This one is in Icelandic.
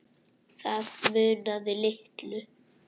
Það munaði litlu.